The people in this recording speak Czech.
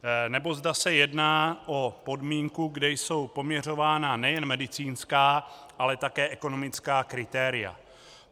- nebo zda se jedná o podmínku, kde jsou poměřována nejen medicínská, ale také ekonomická kritéria.